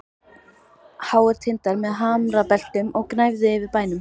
Háir tindar með hamrabeltum gnæfðu yfir bænum.